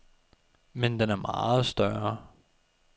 Men den er meget større.